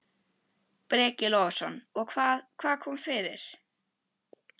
Breki Logason: Og hvað, hvað kom fyrir?